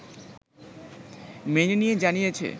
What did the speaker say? মেনে নিয়ে জানিয়েছে